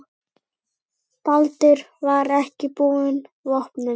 Baldur er ekki búinn vopnum.